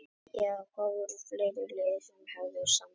Já það voru fleiri lið sem að höfðu samband.